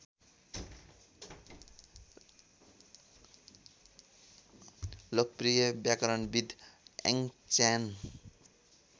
लोकप्रिय व्याकरणविद् याङच्यान